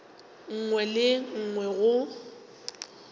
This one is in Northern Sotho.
nngwe le ye nngwe go